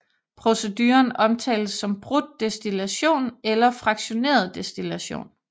Proceduren omtales som brudt destillation eller fraktioneret destillation